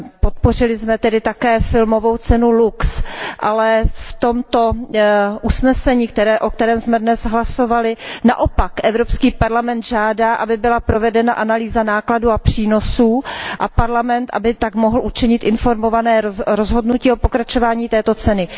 Podpořili jsme tedy také filmovou cenu LUX, ale v tomto usnesení, o kterém jsme dnes hlasovali, naopak Evropský parlament žádá, aby byla provedena analýza nákladů a přínosů a Parlament tak mohl učinit informované rozhodnutí o pokračování této ceny.